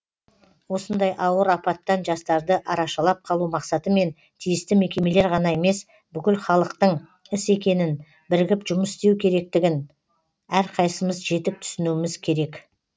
осындай ауыр апаттан жастарды арашалап қалу мақсатымен тиісті мекемелер ғана емес бүкілхалықтың іс екенін бірігіп жұмыс істеу керектігін әрқайсымыз жетік түсінуіміз керек